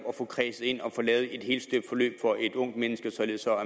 at få kredset ind og få lavet et helstøbt forløb for et ungt menneske således at